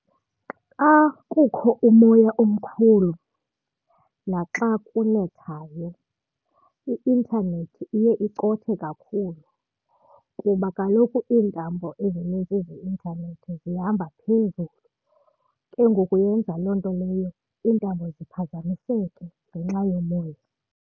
Xa kukho umoya omkhulu naxa kunethayo, i-intanethi iye icothe kakhulu kuba kaloku iintambo ezinintsi zeintanethi zihamba phezulu. Ke ngoku yenza loo nto leyo iintambo ziphazamiseke ngenxa yomoya.